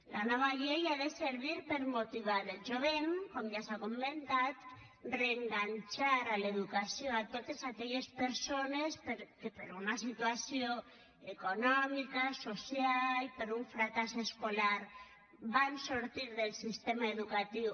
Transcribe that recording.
la nova llei ha de servir per motivar el jovent com ja s’ha comentat reenganxar a l’educació totes aquelles persones que per una situació econòmica social per un fracàs escolar van sortir dels sistema educatiu